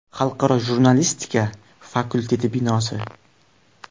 Xalqaro jurnalistika fakulteti binosi.